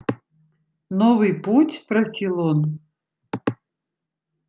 новый путь спросил он